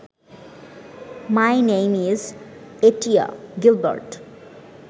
my name is Etia Gilbert